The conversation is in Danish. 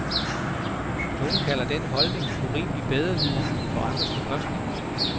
Nogle kalder den holdning urimelig bedreviden på andres bekostning.